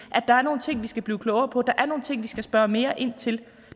at der er nogle ting vi skal blive klogere på der er nogle ting vi skal spørge mere ind til